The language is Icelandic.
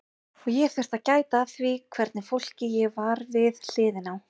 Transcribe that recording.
Og ég þurfti að gæta að því hvernig fólki ég var við hliðina á.